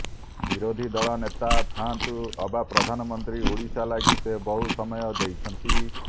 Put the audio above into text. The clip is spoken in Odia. ବିରୋଧୀ ଦଳ ନେତା ଥାଆନ୍ତୁ ଅବା ପ୍ରଧାନମନ୍ତ୍ରୀ ଓଡିଶା ଲାଗି ସେ ବହୁ ସମୟ ଦେଇଛନ୍ତି